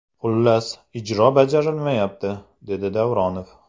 Xullas, ijro bajarilmayapti”, dedi Davronov.